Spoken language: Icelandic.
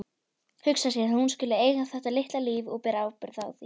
Hugsa sér að hún skuli eiga þetta litla líf og bera ábyrgð á því.